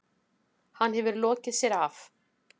Hann hefur lokið sér af.